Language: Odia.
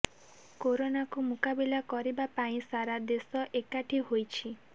କରୋନାକୁ ମୁକାବିଲା କରିବା ପାଇଁ ସାରା ଦେଶ ଏକାଠୀ ହୋଇଛି